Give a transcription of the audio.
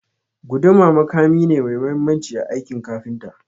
Guduma makami ne mai mahimmanci a aikin kafinta.